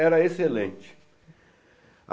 Era excelente.